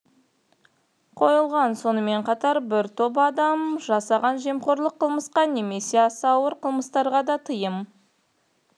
қойылған сонымен қатар бір топ адам жасаған жемқорлық қылмысқа немесе аса ауыр қылмыстарға да тыйым